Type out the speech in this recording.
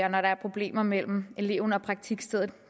og når der er problemer mellem eleven og praktikstedet